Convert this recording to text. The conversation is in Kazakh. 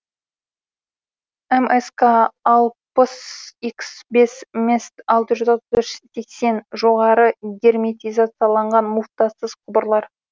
мск алпыс икс бес мест алты жүз отыз үш сексен жоғары герметизацияланған муфтасыз құбырлар